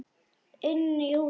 Inn í húsið?